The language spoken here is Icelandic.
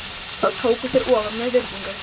Þá tóku þeir ofan með virðingu.